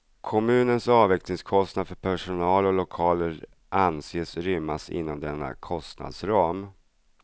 Kommunens avvecklingskostnader för personal och lokaler anses rymmas inom denna kostnadsram.